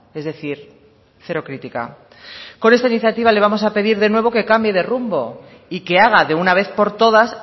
es decir cero crítica con esta iniciativa le vamos a pedir de nuevo que cambie de rumbo y que haga de una vez por todas